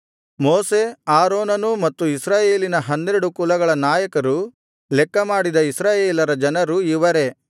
ಮೋಶೆ ಆರೋನನೂ ಮತ್ತು ಇಸ್ರಾಯೇಲಿನ ಹನ್ನೆರಡು ಕುಲಗಳ ನಾಯಕರು ಲೆಕ್ಕಮಾಡಿದ ಇಸ್ರಾಯೇಲರ ಜನರು ಇವರೇ